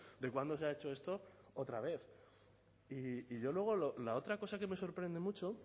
de cuándo se ha hecho esto otra vez y yo luego la otra cosa que me sorprende mucho